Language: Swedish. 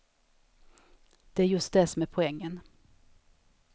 Det är just det som är poängen.